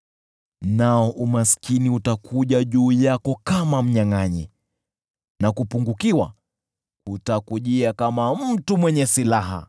hivyo umaskini utakuja juu yako kama mnyangʼanyi, na kupungukiwa kutakujia kama mtu mwenye silaha.